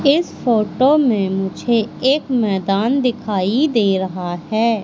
इस फोटो मे मुझे एक मैदान दिखाई दे रहा है।